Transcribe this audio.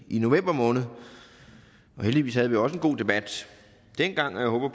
i november måned og heldigvis havde vi også en god debat dengang og jeg håber